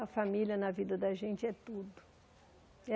A família na vida da gente é tudo.